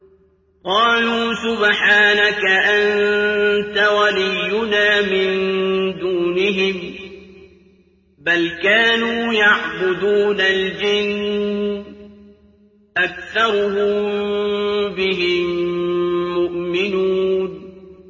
قَالُوا سُبْحَانَكَ أَنتَ وَلِيُّنَا مِن دُونِهِم ۖ بَلْ كَانُوا يَعْبُدُونَ الْجِنَّ ۖ أَكْثَرُهُم بِهِم مُّؤْمِنُونَ